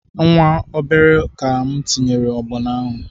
Nwa obere ka m tinyere ọgbọnọ ahụ